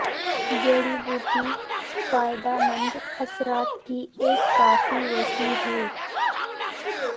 جڑی بوٹی فائدہ مند اثرات کی ایک کافی وسیع ہے